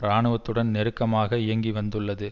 இராணுவத்துடன் நெருக்கமாக இயங்கி வந்துள்ளது